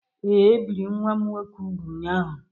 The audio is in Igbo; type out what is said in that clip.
Ee, e biri nwa m nwoke úgwù ụnyahụ.